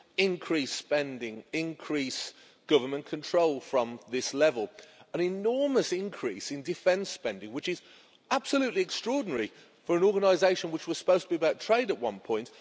increased spending, increased government control from this level, and an enormous increase in defence spending, which is extraordinary for an organisation which was supposed to be about trade at one point.